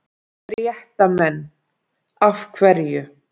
Fréttamenn: Af hverju?